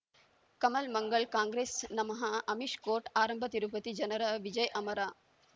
ಕಮಲ್ ಮಂಗಳ್ ಕಾಂಗ್ರೆಸ್ ನಮಃ ಅಮಿಷ್ ಕೋರ್ಟ್ ಆರಂಭ ತಿರುಪತಿ ಜನರ ವಿಜಯ್ ಅಮರ್